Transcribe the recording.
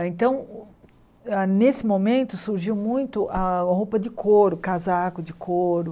Ah então, nesse momento surgiu muito a roupa de couro, casaco de couro.